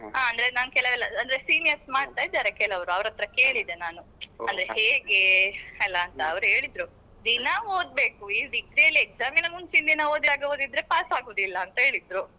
ಅಂದ್ರೆ ನಾನ್ ಕೆಲವೆಲ್ಲಅಂದ್ರೆ seniors ಮಾಡ್ತಾ ಇದ್ದಾರೆ ಕೆಲವ್ರು ಅವ್ರತ್ರ ಕೇಳಿದೆ ನಾನು ಅದು ಹೇಗೆ ಅಲ್ಲ ಅಂತ ಅವ್ರು ಹೇಳಿದ್ರು ದಿನ ಓದ್ಬೇಕು ಈಗ degree ಯಲ್ಲಿ exam ಮಿನ ಮುಂಚಿನ ದಿನ ಓದಿದಾಗೆ ಓದಿದ್ರೆ pass ಆಗುವುದಿಲ್ಲ ಅಂತ ಹೇಳಿದ್ರು.